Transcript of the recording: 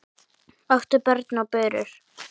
áttu börn og burur